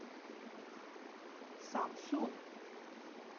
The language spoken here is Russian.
самсун